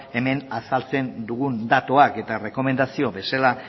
hemen azaltzen dugun datuak eta errekomendazio bezala